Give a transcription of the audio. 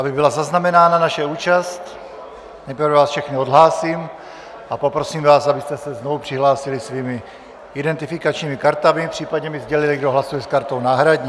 Aby byla zaznamenána naše účast, nejprve vás všechny odhlásím a poprosím vás, abyste se znovu přihlásili svými identifikačními kartami, případně mi sdělili, kdo hlasuje s kartou náhradní.